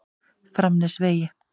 Framnesvegi